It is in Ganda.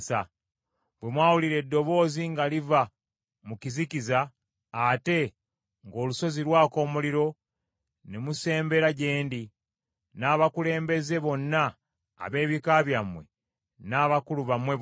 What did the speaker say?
Bwe mwawulira eddoboozi nga liva mu kizikiza, ate ng’olusozi lwaka omuliro, ne musembera gye ndi, n’abakulembeze bonna ab’ebika byammwe, n’abakulu bammwe bonna.